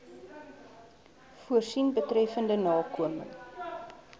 voorsien betreffende nakoming